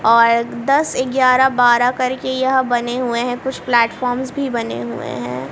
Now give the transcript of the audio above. और दस ग्यारह बारह करके यह बने हुए हैं कुछ प्लेटफार्म भी बने हुए है।